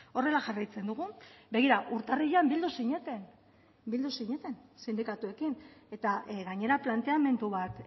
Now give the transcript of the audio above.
horrela jarraitzen dugu begira urtarrilean bildu zineten bildu zineten sindikatuekin eta gainera planteamendu bat